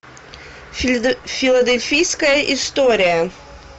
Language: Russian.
филадельфийская история